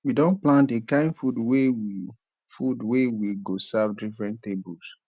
we don plan di kain food wey we food wey we go serve different tables